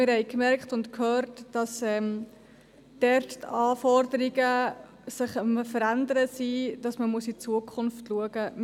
Wir haben gehört und gemerkt, dass sich dort die Anforderungen verändern und man in die Zukunft blicken muss.